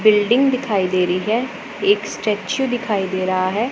Building दिखाई दे रही है एक स्टैचू दिखाई दे रहा है।